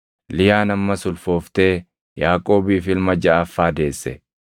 Liyaan ammas ulfooftee Yaaqoobiif ilma jaʼaffaa deesse.